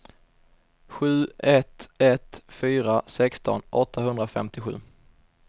sju ett ett fyra sexton åttahundrafemtiosju